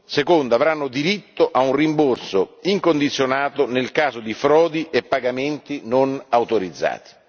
secondo avranno diritto a un rimborso incondizionato nel caso di frodi e pagamenti non autorizzati.